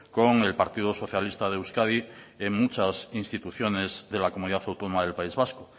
con el partido socialista de euskadi en muchas instituciones de la comunidad autónoma del país vasco